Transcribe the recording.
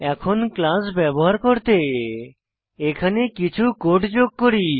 এখন ক্লাস ব্যবহার করতে এখানে কিছু কোড যোগ করি